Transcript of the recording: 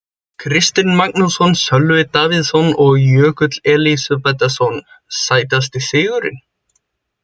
Kristinn Magnússon, Sölvi Davíðsson og Jökull Elísabetarson Sætasti sigurinn?